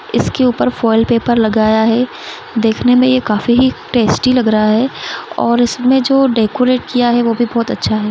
इसके ऊपर foil paper लगाया है देखने में ये काफी ही टॆस्टी लग रहा है और उसमें जो डेकॊरेट किया है वो भी बोहोत अच्छा है।